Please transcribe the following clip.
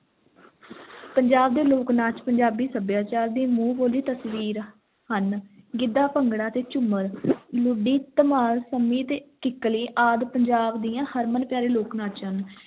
ਪੰਜਾਬ ਦੇ ਲੋਕ-ਨਾਚ ਪੰਜਾਬੀ ਸੱਭਿਆਚਾਰ ਦੀ ਮੂੰਹ ਬੋਲੀ ਤਸਵੀਰ ਹਨ, ਗਿੱਧਾ, ਭੰਗੜਾ ਤੇ ਝੂੰਮਰ ਲੁੱਡੀ, ਧਮਾਲ, ਸੰਮੀ ਅਤੇ ਕਿੱਕਲੀ ਆਦਿ ਪੰਜਾਬ ਦੀਆਂ ਹਰਮਨ-ਪਿਆਰੇ ਲੋਕ-ਨਾਚ ਹਨ।